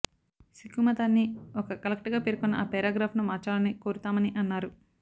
సిక్కు మతాన్ని ఒక కల్ట్ గా పేర్కొన్న ఆ పేరాగ్రాఫ్ను మార్చాలని కోరుతామని అన్నారు